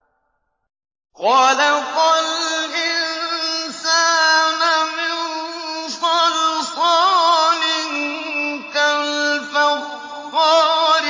خَلَقَ الْإِنسَانَ مِن صَلْصَالٍ كَالْفَخَّارِ